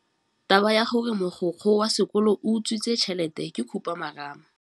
Taba ya gore mogokgo wa sekolo o utswitse tšhelete ke khupamarama.